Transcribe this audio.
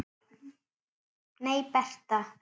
Nei, Bertha.